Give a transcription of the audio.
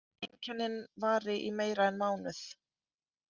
Einkennin vari í meira en mánuð.